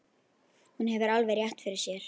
Hún hefur alveg rétt fyrir sér.